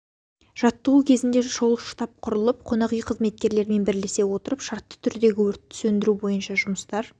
жаттығу кезінде шұғыл штаб құрылып қонақ үй қызметкерлерімен бірлесе отырып шартты түрдегі өртті сөндіру бойынша жұмыстар